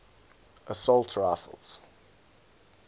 assault rifles